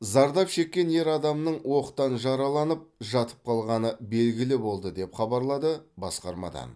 зардап шеккен ер адамның оқтан жараланып жатып қалғаны белгілі болды деп хабарлады басқармадан